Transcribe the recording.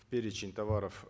в перечень товаров